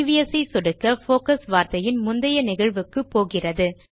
previous ஐ சொடுக்க focus வார்த்தையின் முந்தைய நிகழ்வுக்குப்போகிறது